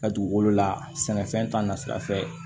Ka dugukolo la sɛnɛfɛn ta na sira fɛ